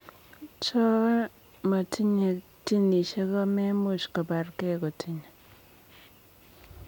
Cho motinye ginisiek komemuch kopar gei kotinye